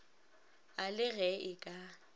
a le ge e ka